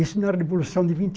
Isso na Revolução de vinte